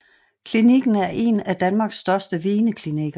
Klinikken er en af Danmarks største veneklinikker